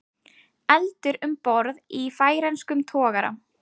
Eldur um borð í færeyskum togara